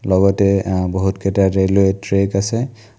লগতে আ বহুতকেটা ৰেলৱে ট্ৰেক আছে।